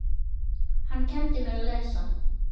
Hann kenndi mér að lesa.